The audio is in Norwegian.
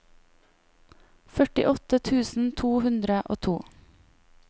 førtiåtte tusen to hundre og to